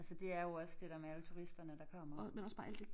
Altså det er jo også det der med alle turisterne der kommer